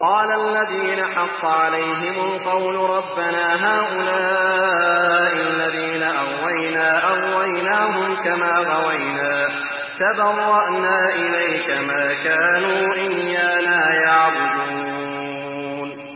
قَالَ الَّذِينَ حَقَّ عَلَيْهِمُ الْقَوْلُ رَبَّنَا هَٰؤُلَاءِ الَّذِينَ أَغْوَيْنَا أَغْوَيْنَاهُمْ كَمَا غَوَيْنَا ۖ تَبَرَّأْنَا إِلَيْكَ ۖ مَا كَانُوا إِيَّانَا يَعْبُدُونَ